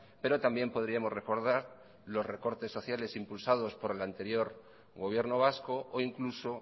pero también podríamos recordar los recortes sociales impulsados por el anterior gobierno vasco o incluso